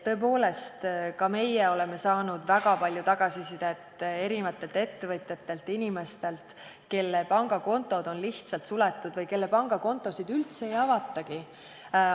Tõepoolest, ka meie oleme saanud väga palju tagasisidet ettevõtjatelt ja inimestelt, kelle pangakontod on lihtsalt suletud või kellele pangakontosid üldse ei avatagi.